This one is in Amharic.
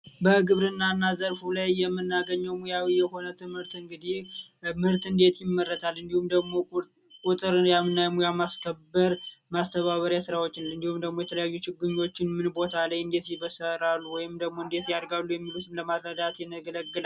የምናገኘው ሙያዊ የሆነ ትምህርት እንግዲ ምርት እንዴት ይመረታል እንዲሁም ደግሞ የማስከበር ማስተባበሪያ ስራዎችን እንዲሁ የተለያዩ ችግኞችን ምን ቦታ ላይ ወይም ደግሞ ያገለግላል ።